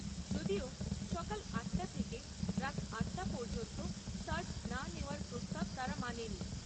যদিও সকাল আট টা থেকে রাত আট টা পর্যন্ত সার্জ না নেওয়ার প্রস্তাব তারা মানেনি।